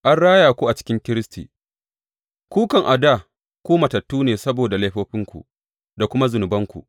An raya ku a cikin Kiristi Ku kam, a dā ku matattu ne saboda laifofinku da kuma zunubanku.